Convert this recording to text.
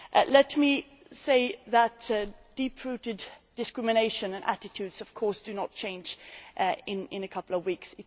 Let me say that deep rooted discrimination and attitudes of course do not change in a couple of weeks.